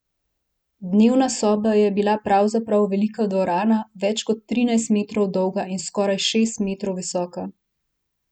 Dnevna soba je bila pravzaprav velika dvorana, več kot trinajst metrov dolga in skoraj šest metrov visoka.